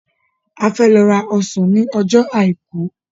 A fẹ́ lọ ra ọsàn ní ọjọ́ àìkú.